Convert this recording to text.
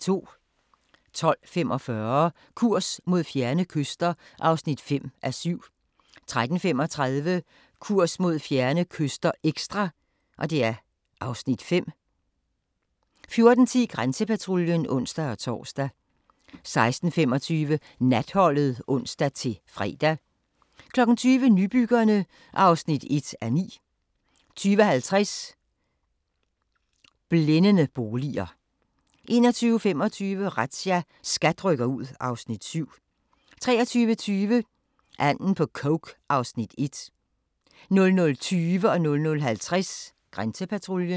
12:45: Kurs mod fjerne kyster (5:7) 13:35: Kurs mod fjerne kyster – ekstra (Afs. 5) 14:10: Grænsepatruljen (ons-tor) 16:25: Natholdet (ons-fre) 20:00: Nybyggerne (1:9) 20:50: Blændende boliger 21:25: Razzia – SKAT rykker ud (Afs. 7) 23:20: Anden på coke (Afs. 1) 00:20: Grænsepatruljen 00:50: Grænsepatruljen